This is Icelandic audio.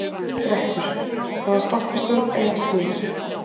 Greppur, hvaða stoppistöð er næst mér?